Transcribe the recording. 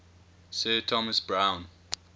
sir thomas browne